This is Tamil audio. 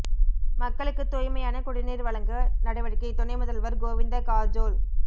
மக்களுக்கு தூய்மையான குடிநீா் வழங்க நடவடிக்கை துணை முதல்வா் கோவிந்த காா்ஜோள்